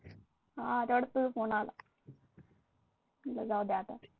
हा तेवढ्यात तुझा फोन आला , म्हणलं जाऊ दे आता.